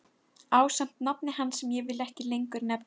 Ásamt nafni hans sem ég vil ekki lengur nefna.